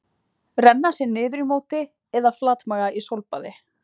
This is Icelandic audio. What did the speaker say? Renna sér niður í móti eða flatmaga í sólbaði?